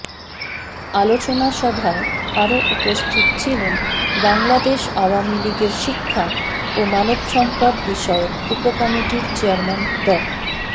আলোচনা সভায় আরও উপস্থিত ছিলেন বাংলাদেশ আওয়ামী লীগের শিক্ষা ও মানবসম্পদ বিষয়ক উপকমিটির চেয়ারম্যান ড